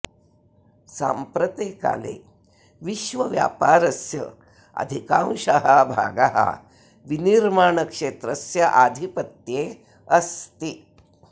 साम्प्रते काले विश्वव्यापारस्य अधिकांशः भागः विनिर्माणक्षेत्रस्य आधिपत्ये अस्ति